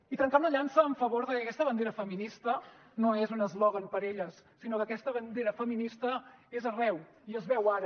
i trencar una llança a favor de que aquesta bandera feminista no és un eslògan per a elles sinó que aquesta bandera feminista és arreu i es veu ara